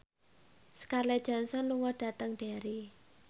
Scarlett Johansson lunga dhateng Derry